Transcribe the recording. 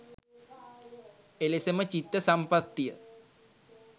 එලෙසම චිත්ත සම්පත්තිය